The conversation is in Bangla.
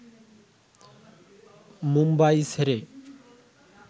মুম্বাই ছেড়ে